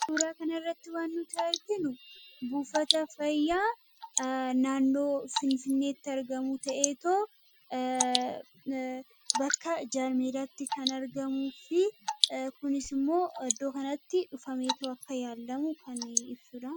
kan suuraa kana irratti waan nuti arginu buufata fayyaa naannoo finfinneetti argamu ta'ee too bakka jaarmeedaatti kan argamuu fi kunis immoo iddoo kanatti dhufamee too akka yaallamu kan ibsuudha